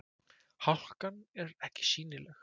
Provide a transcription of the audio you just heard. Hálkan er ekki sýnileg